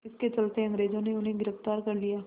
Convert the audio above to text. इसके चलते अंग्रेज़ों ने उन्हें गिरफ़्तार कर लिया